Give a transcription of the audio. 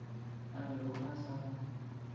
a bego a sa mo